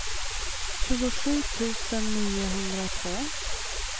tjugosju tusen niohundratvå